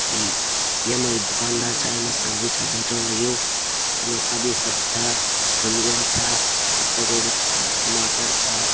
एक यम्मा यू दुकानदार छा यम्मा सब्जी छा बेचण लग्युं येमा सबया सबी सब्जी छा आलु गोभी छा पत्ता गोभी छा टमाटर छा।